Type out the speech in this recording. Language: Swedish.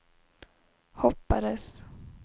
hoppades